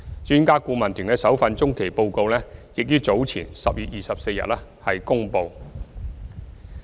專家顧問團的首份中期報告已於10月24日公布。